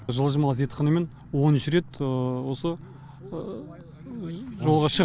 жылжымалы зертханамен оныншы рет осы жолға шығып